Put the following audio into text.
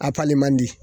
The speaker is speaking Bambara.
A pali man di